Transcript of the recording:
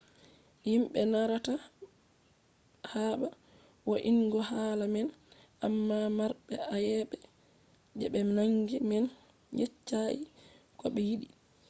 himbe narrata haba vo’ingo hala man amma marbe ayebe je be nangi man yeccai ko be yidi